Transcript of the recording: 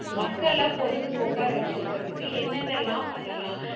மக்களை பொழுதுபோக்க வச்சுருக்குறதுக்கு என்னென்ன எல்லாம் பண்ணலாம்?